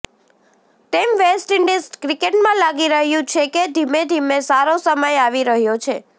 તેમ West Indies ક્રિકેટમાં લાગી રહ્યું છે કે ધીમે ધીમે સારો સમય આવી રહ્યો છે